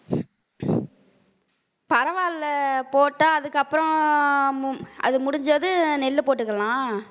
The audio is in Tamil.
பரவால்ல போட்டா அதுக்கப்புறம் மும் அது முடிஞ்சதும் நெல்லு போட்டுக்கலாம்